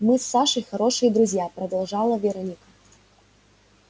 мы с сашей хорошие друзья продолжала вероника